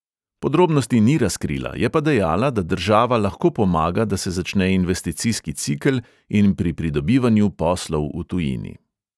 Podrobnosti ni razkrila, je pa dejala, da država lahko pomaga, da se začne investicijski cikel, in pri pridobivanju poslov v tujini.